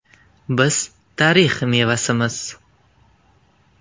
Biz tarix mevasimiz.